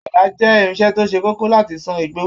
Adà jẹ irinṣẹ́ to se kókó láti sàn igbó.